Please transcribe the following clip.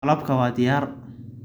Malabka waa diyaar.